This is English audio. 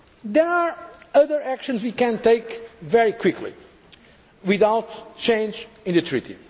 the Treaty. There are other actions we can take very quickly without changing